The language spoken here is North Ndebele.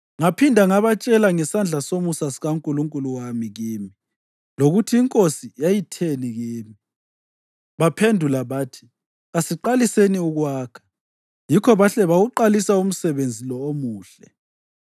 Ngaphinda ngabatshela ngesandla somusa sikaNkulunkulu wami kimi lokuthi inkosi yayitheni kimi. Baphendula bathi, “Kasiqaliseni ukwakha.” Yikho bahle bawuqalisa umsebenzi lo omuhle.